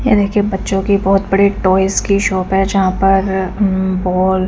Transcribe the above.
ये देखिये बच्चो की बहोत बड़ी टॉयज की शॉप है जहा पर अम्म बॉल --